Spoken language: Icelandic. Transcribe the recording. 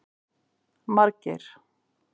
Margeir